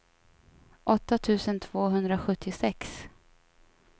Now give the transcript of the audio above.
åtta tusen tvåhundrasjuttiosex